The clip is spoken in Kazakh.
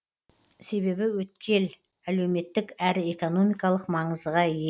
себебі өткел әлеуметтік әрі экономикалық маңызға ие